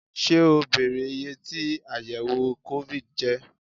Ṣé o bèrè iyé tí àyẹ̀wò COVID jẹ́?